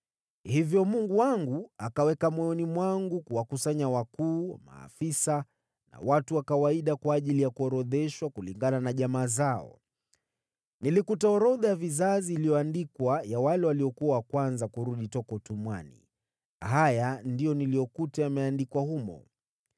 Hivyo Mungu wangu akaweka moyoni mwangu kuwakusanya wakuu, maafisa na watu wa kawaida kwa ajili ya kuorodheshwa kulingana na jamaa zao. Nilikuta orodha ya vizazi ya wale waliokuwa wa kwanza kurudi toka utumwani. Haya ndiyo niliyokuta yameandikwa humo: